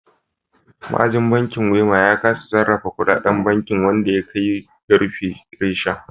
Ma'ajin bankin Wema ya kasa sarrafa kudaden bankin wanda ya kai ga rufe reshen.